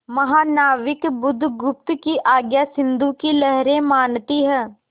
महानाविक बुधगुप्त की आज्ञा सिंधु की लहरें मानती हैं